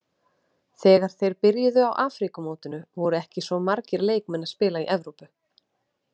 Þegar þeir byrjuðu á Afríkumótinu voru ekki svo margir leikmenn að spila í Evrópu.